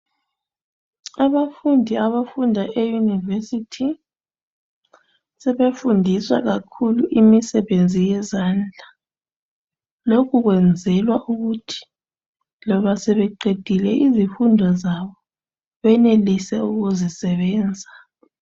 Abafundi abafunda e yunivesithi sebefundiswa kakhulu imisebenzi yezandla lokhu kwenzelwa ukuthi loba sebeqedile izifundo zabo benelise ukuzisebenza.